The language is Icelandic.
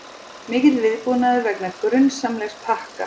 Mikill viðbúnaður vegna grunsamlegs pakka